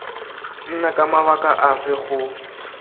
nna ka mabaka afe go